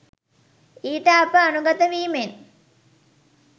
ඊට අප අනුගත වීමෙන්